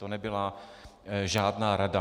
To nebyla žádná rada.